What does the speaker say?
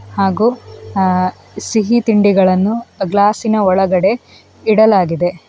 ಹಾಗು ಅಹ್ ಸಿಹಿ ತಿಂಡಿಗಳನ್ನು ಆ ಗ್ಲಾಸ್ಸಿನ ಒಳಗಡೆ ಇಡಲಾಗಿದೆ .